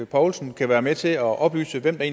poulsen kan være med til at oplyse hvem der